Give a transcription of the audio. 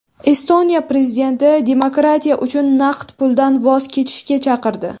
Estoniya prezidenti demokratiya uchun naqd puldan voz kechishga chaqirdi.